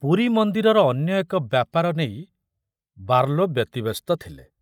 ପୁରୀ ମନ୍ଦିରର ଅନ୍ୟ ଏକ ବ୍ୟାପାର ନେଇ ବାର୍ଲୋ ବ୍ୟତିବ୍ୟସ୍ତ ଥିଲେ।